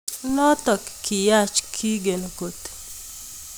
Notok kiyach kigen koot